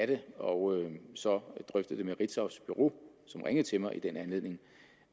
det og så drøftet det med ritzaus bureau som ringede til mig i den anledning